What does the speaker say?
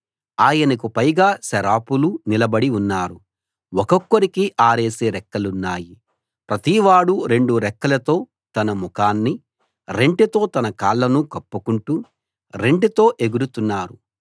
ఆయనకు పైగా సెరాపులు నిలబడి ఉన్నారు ఒక్కొక్కరికి ఆరేసి రెక్కలున్నాయి ప్రతివాడూ రెండు రెక్కలతో తన ముఖాన్ని రెంటితో తన కాళ్లను కప్పుకుంటూ రెంటితో ఎగురుతున్నారు